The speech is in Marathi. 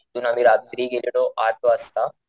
इथून आम्ही रात्री गेलेलो आठ वाजता,